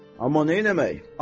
Amma neyləmək?